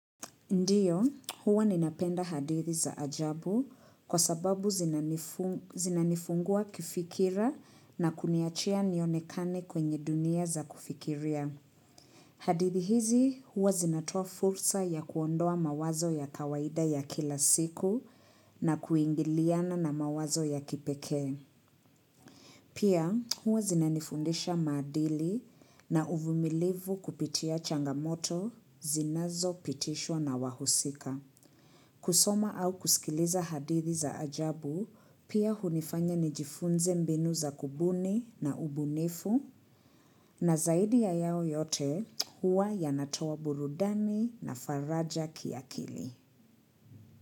Ndio, huwa ninapenda hadithi za ajabu kwa sababu zinanifungua kifikira na kuniachia nionekane kwenye dunia za kufikiria. Hadithi hizi, huwa zinatoa fursa ya kuondoa mawazo ya kawaida ya kila siku na kuingiliana na mawazo ya kipekee. Pia, huwa zinanifundisha maadili na uvumilivu kupitia changamoto zinazo pitishwa na wahusika. Kusoma au kusikileza hadithi za ajabu, pia hunifanya nijifunze mbinu za kubuni na ubunifu, na zaidi ya yao yote huwa yanatoa burudani na faraja kiakili.